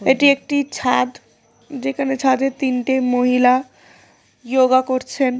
এটি একটি ছাদ যেখানে ছাদের তিনটি মহিলা ইয়োগা করছেন।